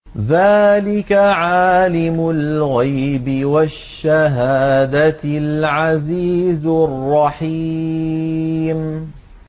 ذَٰلِكَ عَالِمُ الْغَيْبِ وَالشَّهَادَةِ الْعَزِيزُ الرَّحِيمُ